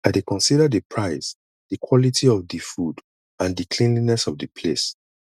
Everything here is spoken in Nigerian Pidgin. i dey consider di price di quality of di food and di cleanliness of di place